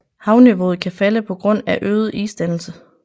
Havniveauet kan falde på grund af øget isdannelse